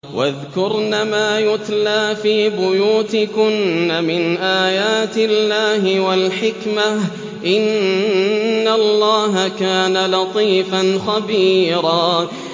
وَاذْكُرْنَ مَا يُتْلَىٰ فِي بُيُوتِكُنَّ مِنْ آيَاتِ اللَّهِ وَالْحِكْمَةِ ۚ إِنَّ اللَّهَ كَانَ لَطِيفًا خَبِيرًا